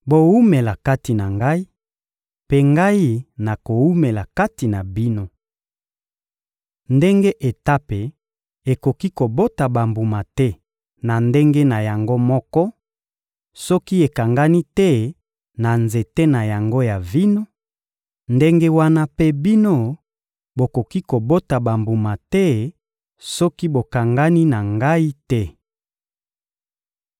Bowumela kati na Ngai, mpe Ngai nakowumela kati na bino. Ndenge etape ekoki kobota bambuma te na ndenge na yango moko, soki ekangani te na nzete na yango ya vino, ndenge wana mpe bino, bokoki kobota bambuma te soki bokangani na Ngai te.